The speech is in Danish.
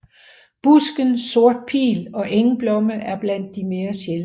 Busken sort pil og engblomme er blandt de mere sjældne